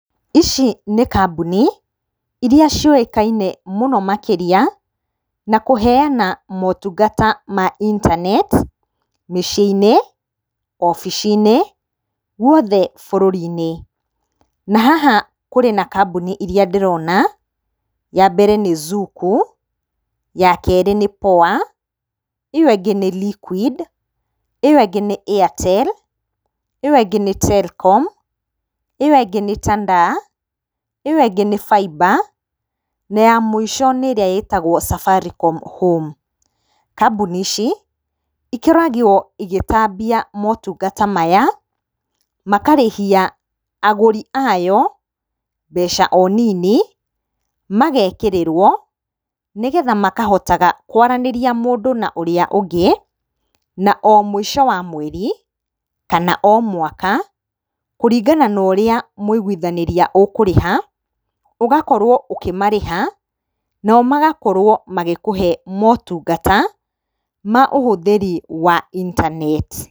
Ici nĩ kambũni iria ciũĩkaine mũno makĩria, na kũheyana motungata ma intaneti mĩciĩ-inĩ, obici-inĩ guothe bũrũri-inĩ. Na haha harĩ na kamboni iria ndĩrona ya mbere nĩ zuku, yakerĩ nĩ Poa, ĩyo ĩngĩ nĩ LIQUID, ĩyo ĩngĩ nĩ airtel, ĩyo ĩngĩ nĩ Telkom, ĩyo ĩngĩ nĩ tandaa, ĩyo ĩngĩ nĩ Faiba na ya mũico nĩ ĩrĩa ĩtagwo Safaricom HOME. Kamboni ici ikoragwo igĩtambia motungata maya makarĩhia agũria ayo mbeca o nini magekĩrĩrwo nĩgetha makahotaga kwaranĩria mũndũ na ũrĩa ũngĩ. Na o mũico wa mweri kana o mwaka kũringana na ũrĩa mwaiguithanĩria ũkũrĩha ũgakorwo ũkĩmarĩha nao magakorwo magĩkũhe motungata ma ũhũthĩri wa intaneti.